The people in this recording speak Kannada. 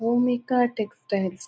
ಭೂಮಿಕಾ ಟೆಕ್ಸ್ಟೈಲ್ಸ್ --